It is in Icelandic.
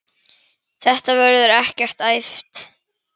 Þetta verður ekkert æft.